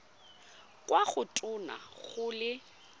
kwa go tona go le